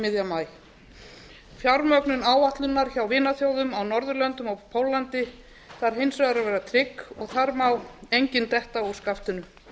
miðjan maí fjármögnun áætlunar hjá vinaþjóðum á norðurlöndum og póllandi þarf hins vegar að vera trygg og þar má engin detta úr skaftinu